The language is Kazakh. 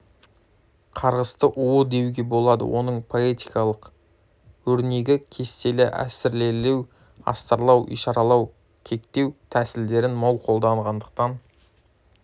қарғысты уы деуге болады оның поэтикалық өрнегі кестелі әсірелеу астарлау ишаралау кекету тәсілдерін мол қолданғандықтан